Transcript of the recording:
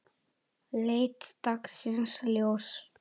leit dagsins ljós.